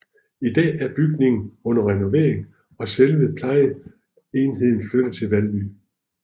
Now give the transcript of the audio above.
I dag er bygningen under renovering og selve plejeenheden flyttet til Valby